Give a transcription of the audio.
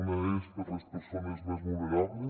una és per a les persones més vulnerables